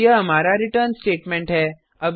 और यह हमारा रिटर्न स्टेटमेंट है